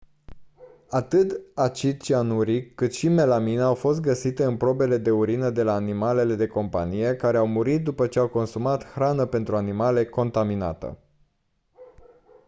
atât acid cianuric cât și melamină au fost găsite în probe de urină de la animale de companie care au murit după ce au consumat hrană pentru animale contaminată